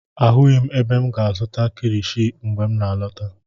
Ahụghị m ebe m ga-azụta kilishi mgbe m n'alọta.